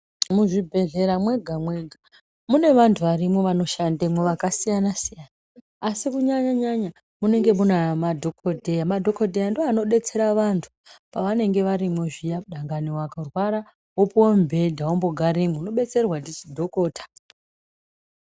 Muzvibhehlera mwega mwega mune vantu varimwo vanoshandemwo vakasiyana siyana asi kunyanya nyanya munenge kune madhokodheya. Madhokodheya ndiwo anodetsera vantu pavanenge varimwo zviya, Dani varwara wopuwa mubhedha wogaremwo unodetserwa ndi dhokodheya.